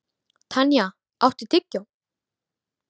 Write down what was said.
Tanya, áttu tyggjó?